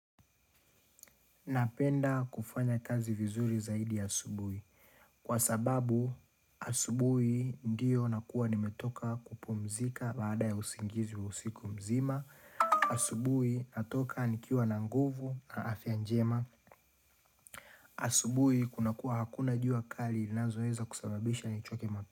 Napenda kufanya kazi vizuri zaidi asubuhi. Kwa sababu, asubuhi ndiyo nakuwa nimetoka kupumzika baada ya usingizi wa usiku mzima. Asubuhi natoka nikiwa na nguvu na afya njema. Asubuhi kuna kuwa hakuna jua akali ilinazoweza kusababisha ni uchoke.